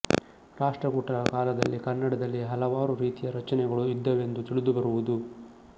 ರಾಷ್ಟ್ರಕೂಟರ ಕಾಲದಲ್ಲಿ ಕನ್ನಡದಲ್ಲಿ ಹಲವಾರು ರೀತಿಯ ರಚನೆಗಳು ಇದ್ದವೆಂದು ತಿಳಿದು ಬರುವುದು